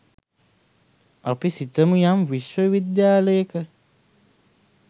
අපි සිතමු යම් විශ්ව විද්‍යාලයක